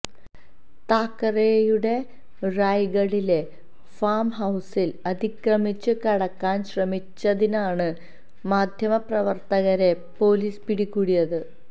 താക്കറെയുടെ റായ്ഗഡിലെ ഫാം ഹൌസിൽ അതിക്രമിച്ച് കടക്കാൻ ശ്രമിച്ചതിനാണ് മാധ്യമ പ്രവർത്തകരെ പോലീസ് പിടികൂടിയത്